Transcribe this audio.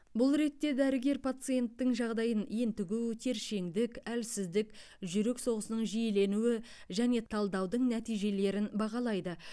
бұл ретте дәрігер пациенттің жағдайын ентігу тершеңдік әлсіздік жүрек соғысының жиіленуі және талдаудың нәтижелерін бағалайды